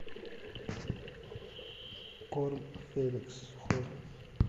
корм феликс сухой